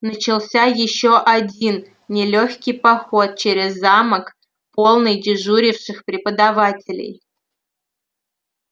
начался ещё один нелёгкий поход через замок полный дежуривших преподавателей